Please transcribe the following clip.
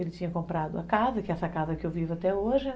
Ele tinha comprado a casa, que é essa casa que eu vivo até hoje, né?